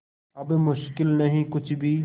अब मुश्किल नहीं कुछ भी